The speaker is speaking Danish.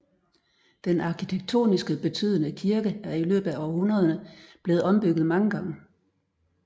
Den arkitektoniske betydende kirke er i løbet af århundrederne blevet ombygget mange gange